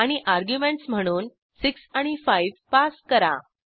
आणि अर्ग्युमेंटस म्हणून 6 आणि 5 पास करा